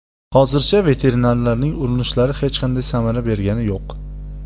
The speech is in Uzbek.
Hozircha veterinarlarning urinishlari hech qanday samara bergani yo‘q.